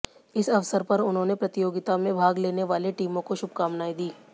इस अवसर पर उन्होंने प्रतियोगिता में भाग लेने वाले टीमों को शुभकामनाएं दीं